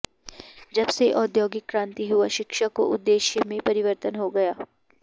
जब से औद्योगिक क्रान्ति हुआ शिक्षा को उद्येश्य में परिवर्तन हो गया